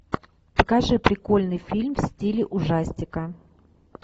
покажи прикольный фильм в стиле ужастика